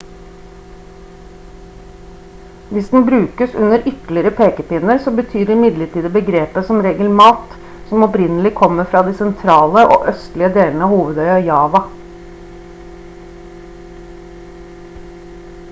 hvis den brukes uten ytterligere pekepinner så betyr imidlertid begrepet som regel mat som opprinnelig kommer fra de sentrale og østlige delene av hovedøya java